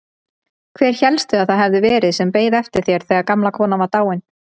Hver hélstu að það hefði verið sem beið eftir þér þegar gamla konan var dáin?